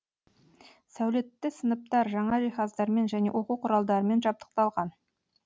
сәулетті сыныптар жаңа жиһаздармен және оқу құралдарымен жабдықталған